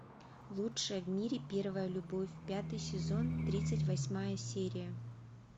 лучшая в мире первая любовь пятый сезон тридцать восьмая серия